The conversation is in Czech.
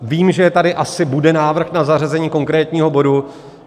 Vím, že tady asi bude návrh na zařazení konkrétního bodu.